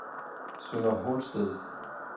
Sønder Holsted